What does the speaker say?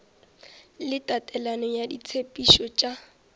le tatelelo ya ditshepetšo tša